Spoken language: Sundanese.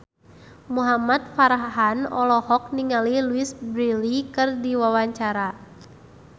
Muhamad Farhan olohok ningali Louise Brealey keur diwawancara